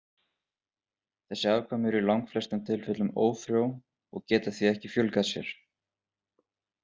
Þessi afkvæmi eru í langflestum tilfellum ófrjó og geta því ekki fjölgað sér.